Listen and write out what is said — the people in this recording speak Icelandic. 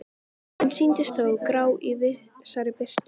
En sýndust þó grá í vissri birtu.